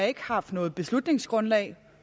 ikke har haft noget beslutningsgrundlag